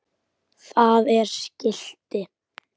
Það er skilti.